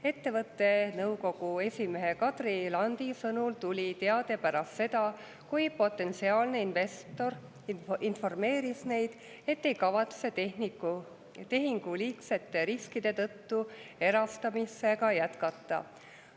Ettevõtte nõukogu esimehe Kadri Landi sõnul tuli teade pärast seda, kui potentsiaalne investor informeeris neid, et ei kavatse tehingu liigsete riskide tõttu erastamisega jätkata.